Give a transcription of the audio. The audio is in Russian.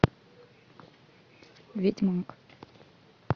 ведьмак